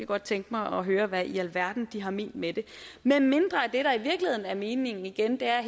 godt tænke mig at høre hvad i alverden de har ment med det medmindre er meningen igen her